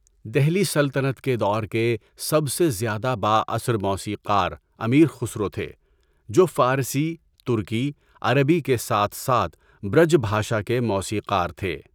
دہلی سلطنت کے دور کے سب سے زیادہ بااثر موسیقار امیر خسرو تھے، جو فارسی، ترکی، عربی کے ساتھ ساتھ برج بھاشا کے موسیقار تھے۔